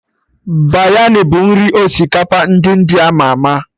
Biryani bụ nri osikapa ndị India ama ama